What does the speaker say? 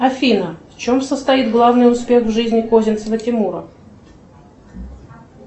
афина в чем состоит главный успех в жизни козинцева тимура